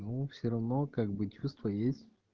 ну все равно как бы чувства есть